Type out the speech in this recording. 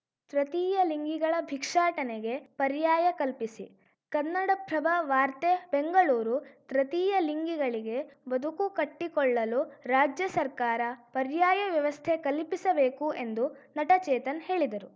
ತೃತೀಯ ಲಿಂಗಿಗಳ ಭಿಕ್ಷಾಟನೆಗೆ ಪರ್ಯಾಯ ಕಲ್ಪಿಸಿ ಕನ್ನಡಪ್ರಭ ವಾರ್ತೆ ಬೆಂಗಳೂರು ತೃತೀಯ ಲಿಂಗಿಗಳಿಗೆ ಬದುಕು ಕಟ್ಟಿಕೊಳ್ಳಲು ರಾಜ್ಯ ಸರ್ಕಾರ ಪರ್ಯಾಯ ವ್ಯವಸ್ಥೆ ಕಲ್ಪಿಸಬೇಕು ಎಂದು ನಟ ಚೇತನ್‌ ಹೇಳಿದರು